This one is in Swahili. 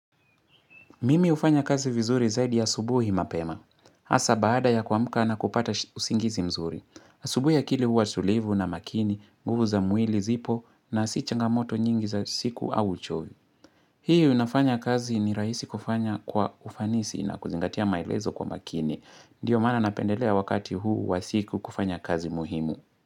Mimi ufanya kazi vizuri zaidi asubuhi mapema. Asa baada ya kuamka na kupata usingizi mzuri. Asubuhi akili huwa tulivu na makini, nguvu za mwili zipo na si changamoto nyingi za siku au uchovu. Hii u nafanya kazi ni raisi kufanya kwa ufanisi na kuzingatia maelezo kwa makini. Ndiyo maana napendelea wakati huu wa siku kufanya kazi muhimu.